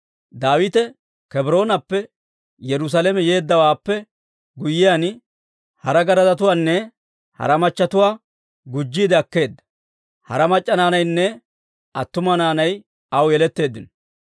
Daawite Kebroonappe Yerusaalame yeeddawaappe guyyiyaan, hara garadatuwaanne hara machchetuwaa gujjiide akkeedda. Hara mac'c'a naanaynne attuma naanay aw yeletteeddino.